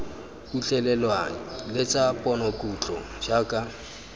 utlwelelwang le tsa ponokutlo jaaka